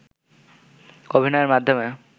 অভিনয়ের মাধ্যমে